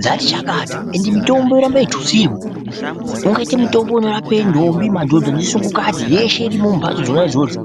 dzati chakata ende mitombo yoramba yeitutsirwa ungaite mitombo unorape ndombi madhodha nesukungati yeshe irimwo mumbatso dzona idzodzo.